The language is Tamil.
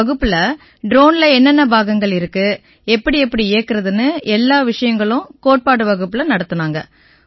வகுப்புல ட்ரோன்ல என்னென்ன பாகங்கள் இருக்கு எப்படிஎப்படி இயக்கறதுன்னு எல்லா விஷயங்களும் கோட்பாடு வகுப்புல நடத்தினாங்க